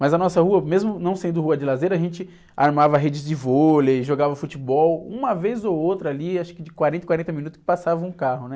Mas a nossa rua, mesmo não sendo rua de lazer, a gente armava redes de vôlei, jogava futebol... Uma vez ou outra ali, acho que de quarenta em quarenta minutos, passava um carro, né?